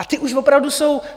A ty už opravdu jsou...